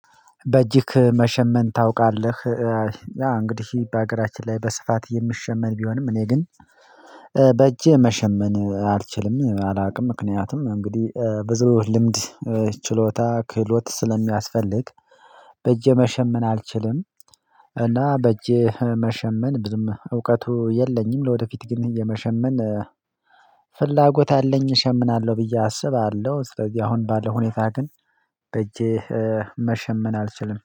በእጅክ መሸመን ታውቃለህ? ያ እንግዲህ በሀገራችን ላይ በስፋት የሚሸመን ቢሆንም እኔ ግን በእጄ መሸመን አልችልም አላቅም። ምክንያቱም እንግዲህ ብዙ ልምድ ችሎታ ክህሎት ስለሚያስፈልግ። በእጄ መሸመን አልችልም። እና በእጄ መሸመን ብዙም እውቀቱ የለኝም። ለወደፊት ግን የመሸመን ፍላጎት አለኝ እሸምናለሁ ብዬ አስባለሁ። ስለዚህ አሁን ባለው ሁኔታ ግን በእጄ መሸመን አልችልም